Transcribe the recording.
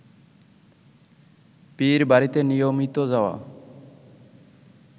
পীরবাড়িতে নিয়মিত যাওয়া